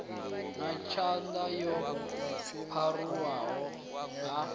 na ṱhanga yo pharuwaho ha